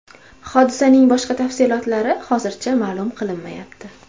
Hodisaning boshqa tafsilotlari hozircha ma’lum qilinmayapti.